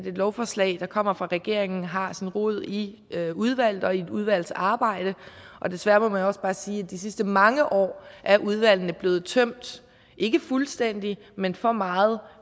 et lovforslag der kommer fra regeringen har sin rod i et udvalg og i et udvalgsarbejde og desværre må man også bare sige at de sidste mange år er udvalgene blevet tømt ikke fuldstændigt men for meget